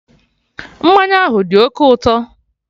Mmanya ahụ dị oké ụtọ